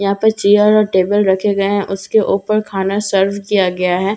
यहाँ पर चेयर और टेबल रखे गए हैं उसके ऊपर खाना सर्व किया गया है जैसे की मैं--